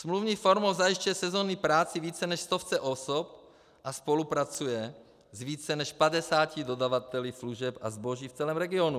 Smluvní formou zajišťuje sezónní práci více než stovce osob a spolupracuje s více než 50 dodavateli služeb a zboží v celém regionu.